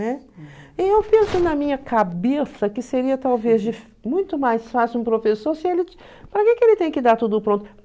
Né? E eu penso na minha cabeça que seria talvez muito mais fácil um professor se ele para que que ele tem que dar tudo pronto?